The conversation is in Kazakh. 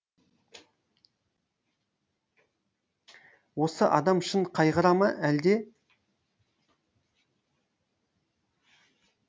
осы адам шын қайғыра ма әлде